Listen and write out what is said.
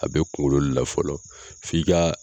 A bɛ kungolo le la fɔlɔ f'i ka